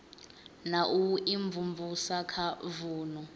na u imvumvusa kha vunu